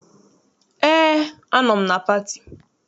Eé, anọ m na pati.